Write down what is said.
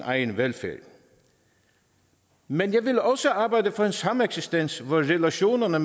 egen velfærd men jeg ville også arbejde for en sameksistens hvor relationerne